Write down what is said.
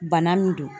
Bana min don